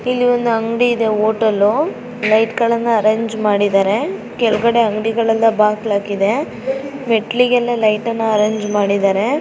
ಇಲ್ಲಿ ಒಂದು ಅಂಗಡಿ ಇದೆ ಹೋಟೆಲ್ ಲೈಟ್ ಎಲ್ಲ ಅರೆಂಜ್ ಮಾಡಿದರೆ ಕೆಳಗಡೆ ಅಂಗಡಿಗಳೆಲ್ಲ ಬಾಗಲ ಹಾಕಿದವೇ ಮೇಟ್ಲಿಗೆ ಲೈಟ್ ಎಲ್ಲ ಅರೆಂಜ್ ಮಾಡಿದ್ದಾರೆ .